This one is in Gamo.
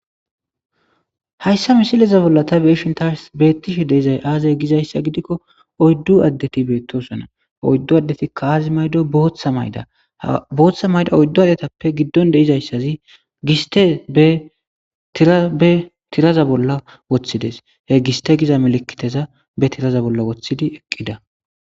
Hayssa misileza bolla ta beeshin taars beettishe deizay aazay gizayssa gidikko oyddu addeti beettosona oyddu addeti kaazi maydo booththa mayda booththa mayda oyddu adetappe giddon deizayssazi giste etbe tiraza bolla woththides he giste giza melikiteza be tiraza bolla woththidi eqqida